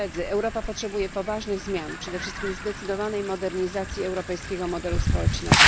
Europa potrzebuje poważnych zmian, a przede wszystkim zdecydowanej modernizacji europejskiego modelu społecznego.